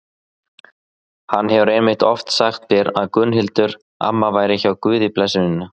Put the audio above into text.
Hann hefur einmitt oft sagt mér að Gunnhildur amma væri hjá Guði blessunin.